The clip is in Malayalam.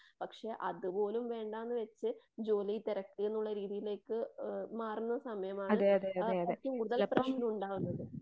പക്ഷെ അതുപോലും വേണ്ടാന്ന് വെച്ച് ജോലി തിരക്കുന്നുള്ള രീതിയിലേക്ക് മാറുന്ന സമയമാണ് ആ ഏറ്റവും കൂടുതൽ പ്രശ്‌നമുണ്ടാകുന്നത്.